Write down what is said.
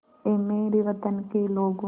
ऐ मेरे वतन के लोगों